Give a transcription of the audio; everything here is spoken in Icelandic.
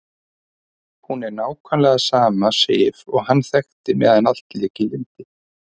Hún er nákvæmlega sama Sif og hann þekkti meðan allt lék í lyndi.